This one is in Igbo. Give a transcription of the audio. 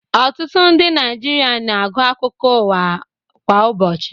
Ọtutụ ndi naijịrịa na-agu akụkọ uwa kwa ụbochi